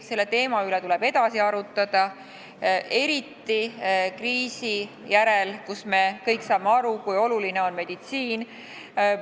Selle teema üle tuleb edasi arutada, eriti pärast kriisi, kui me kõik saame aru, kui oluline on meditsiin.